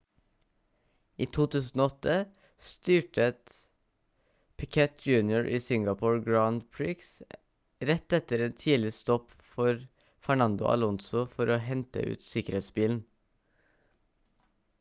i 2008 styrtet piquet jr i singapore grand prix rett etter en tidlig stopp for fernando alonso for å hente ut sikkerhetsbilen